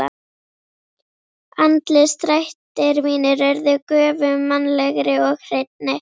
Andlitsdrættir mínir urðu göfugmannlegri og hreinni.